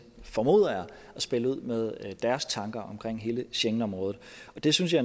spille ud med deres tanker om hele schengenområdet det synes jeg